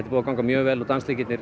búið að ganga mjög vel og